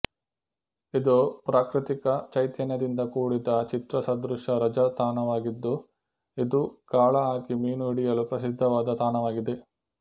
ಇದು ಪ್ರಾಕೃತಿಕ ಚೈತನ್ಯದಿಂದ ಕೂಡಿದ ಚಿತ್ರಸದೃಶ ರಜಾ ತಾಣವಾಗಿದ್ದು ಇದು ಗಾಳ ಹಾಕಿ ಮೀನು ಹಿಡಿಯಲು ಪ್ರಸಿದ್ದವಾದ ತಾಣವಾಗಿದೆ